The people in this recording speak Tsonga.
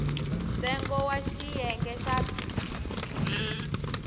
ntsengo wa xiyenge xa b